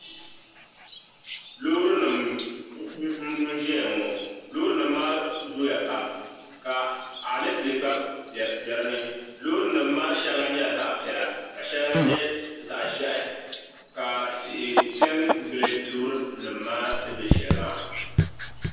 Loorinima n-zaya ŋɔ loorinima maa zooya pam ka alepile gba be di ni loorinima maa shɛŋa nyɛla zaɣapiɛla ka shɛŋa nyɛ zaɣiʒiɛhi ka tihi pe n-gili loorinim maa ni be shɛli maa